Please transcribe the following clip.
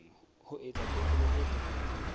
ho etsa tekolo e phethahetseng